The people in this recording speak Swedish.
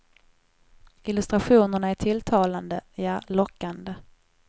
Illustrationerna är tilltalande, ja lockande.